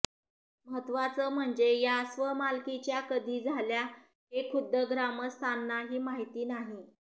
महत्वाचं म्हणजे या स्वमालकीच्या कधी झाल्या हे खुद्द ग्रामस्थांनाही माहिती नाही